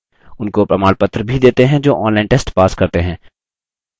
उनको प्रमाणपत्र भी देते हैं जो online test pass करते हैं